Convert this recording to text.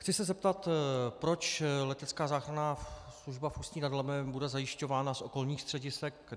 Chci se zeptat, proč letecká záchranná služba v Ústí nad Labem bude zajišťována z okolních středisek.